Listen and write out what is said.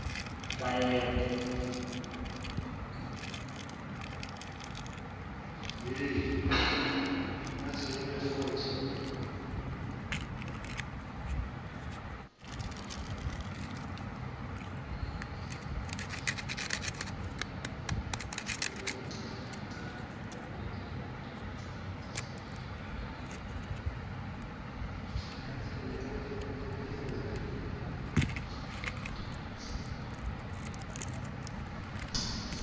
bayede